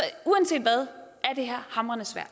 uanset hvad er det her hamrende svært